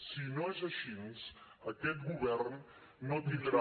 si no és així aquest govern no tindrà